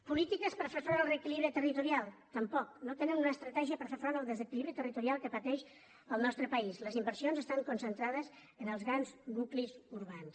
polítiques per fer front al reequilibri territorial tampoc no tenen una estratègia per fer front al desequilibri territorial que pateix el nostre país les inversions estan concentrades en els grans nuclis urbans